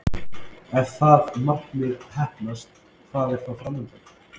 Ef það markmið heppnast, hvað er þá fram undan?